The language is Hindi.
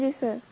हाँजी सर